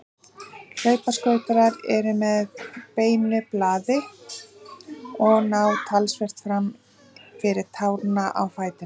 Hlaupaskautar eru með beinu blaði og ná talsvert fram fyrir tána á fætinum.